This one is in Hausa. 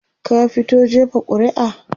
ka fito jefa ƙuri'a?